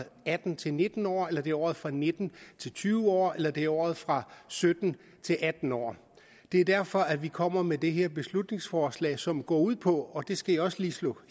atten til nitten år eller det er året fra nitten til tyve år eller det er året fra sytten til atten år det er derfor vi kommer med det her beslutningsforslag som går ud på og det skal jeg også lige slå